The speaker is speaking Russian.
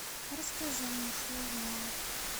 расскажи мне что узнала